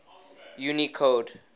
unicode